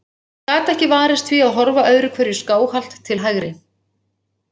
Hann gat ekki varist því að horfa öðru hverju skáhallt til hægri.